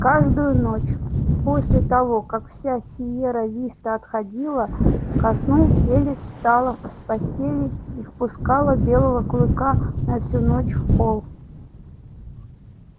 каждую ночь после того как вся сиерра виста отходила ко сну элис встала с постели и впускала белого клыка на всю ночь в холл